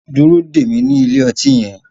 Dúró dè mí ní ilé ọtí yẹn